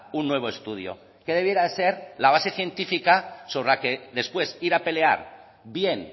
un nuevo estudio que debiera de ser la base científica sobre la que después ir a pelear bien